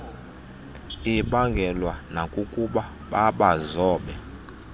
ibaangelwe nakukuba babazobe